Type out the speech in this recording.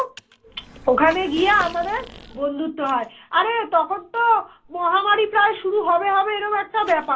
ওখানে গিয়ে আমাদের বন্ধুত্ব হয় আরে তখন তো মহামারী প্রায় শুরু হবে হবে এরাম একটা ব্যাপার